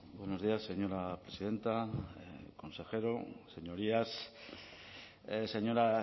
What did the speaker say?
buenos días señora presidenta consejero señorías señora